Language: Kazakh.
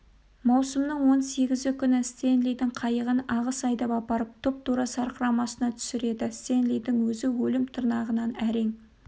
маусымның он сегізі күні стенлидің қайығын ағыс айдап апарып тұп-тура сарқырамасына түсіреді стенлидің өзі өлім тырнағынан әрең